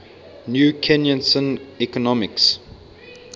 new keynesian economics